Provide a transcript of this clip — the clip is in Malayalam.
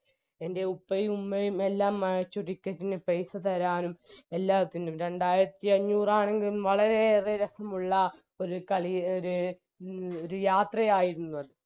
എൻറെ ഉപ്പയും ഉമ്മയും എല്ലാം മ് ചു ticket ന് പൈസ തരാനും എല്ലാത്തിനും രണ്ടായിരത്തി അഞ്ഞൂറാണെങ്കിലും വളരെയേറെ രസമുള്ള ഒര് കളി ഒര് എ ഒര് യാത്രയായിരുന്നു അത്